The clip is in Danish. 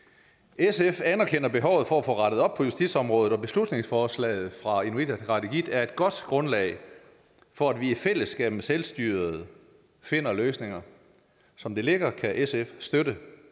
sf anerkender behovet for at få rettet op på justitsområdet og beslutningsforslaget fra inuit ataqatigiit er et godt grundlag for at vi i fællesskab med selvstyret finder løsninger som det ligger kan sf støtte